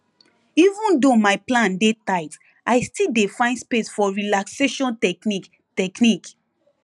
even though my plan dey tight i still dey find space for relaxation technique technique